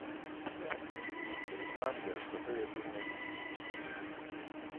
танго посоветуй мне